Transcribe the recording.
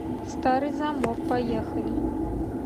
старый замок поехали